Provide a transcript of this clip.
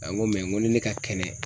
A ko ni ne ka kɛnɛ.